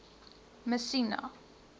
messina